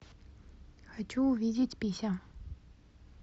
хочу увидеть пися